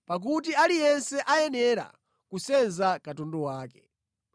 pakuti aliyense ayenera kusenza katundu wake.